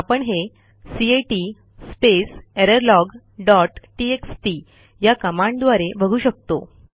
आपण हेcat space error log dot TXT या कमांडद्वारे बघू शकतो